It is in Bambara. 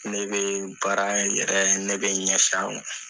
Ne bɛ baara in yɛrɛ ne bɛ ɲɛfɛ